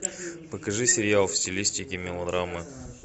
покажи сериал в стилистике мелодрамы